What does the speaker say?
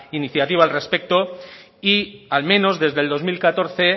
iniciativa al respecto y al menos desde el dos mil catorce